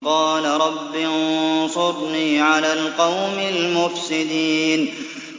قَالَ رَبِّ انصُرْنِي عَلَى الْقَوْمِ الْمُفْسِدِينَ